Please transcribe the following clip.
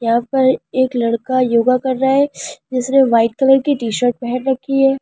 यहां पर एक लड़का योगा कर रहा है जिसने ब्‍हाईट कलर की टी शर्ट पहन रक्‍खी है।